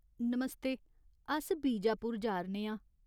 नमस्ते ! अस बीजापुर जा'रने आं।